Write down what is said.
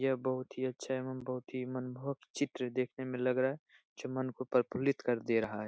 यह बहुत ही अच्छा एवं बहुत ही मनमोहक चित्र देखने में लग रहा है जो मन को प्रफुल्लित कर दे रहा है।